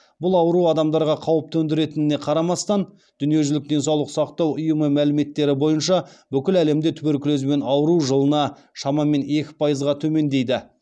бұл ауру адамдарға қауіп төндіретініне қарамастан дүниежүзілік денсаулық сақтау ұйымы мәліметтері бойынша бүкіл әлемде туберкулезбен ауыру жылына шамамен екі пайызға төмендейді